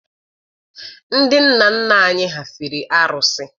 Ndị nna nna anyị ha fere arụsị.